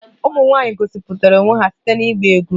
Ụmụ nwanyị gosipụtara onwe ha site na ịgba egwú